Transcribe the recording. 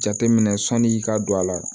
Jateminɛ sɔn'i ka don a la